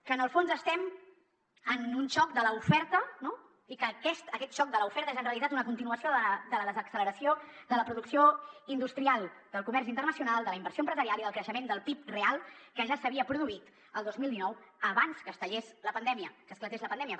que en el fons estem en un xoc de l’oferta i que aquest xoc de l’oferta és en realitat una continuació de la desacceleració de la producció industrial del comerç internacional de la inversió empresarial i del creixement del pib real que ja s’havia produït el dos mil dinou abans que es tallés la pandèmia que esclatés la pandèmia